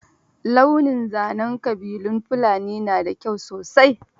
Launin zanen ƙabilun Fulani na da kyau sosai.